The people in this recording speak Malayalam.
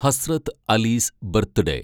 ഹസ്രത്ത് അലീസ് ബർത്ത്ഡേ